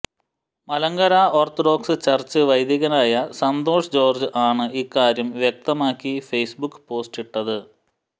Malankara Orthodox Church വൈദികനായ Santhosh George ആണ് ഇക്കാര്യം വ്യക്തമാക്കി ഫേസ്ബുക്ക് പോസ്റ്റിട്ടത്